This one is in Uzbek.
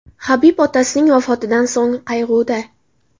Habib otasining vafotidan so‘ng qayg‘uda.